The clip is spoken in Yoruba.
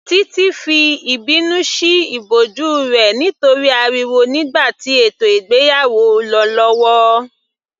Titi fi ìbínú sí ìbòjú rẹ̀ nítorí ariwo nígbà tí ètò ìgbéyàwó lọ lọ́wọ́